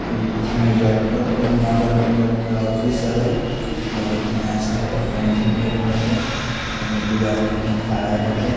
ई मुज़फ्फरपुर नगर निगम के ऑफिस हवे बहुत ही अच्छा एकर पेंटिंग भईल बाटे एमे दू आदमी अभी खड़ा बाटे।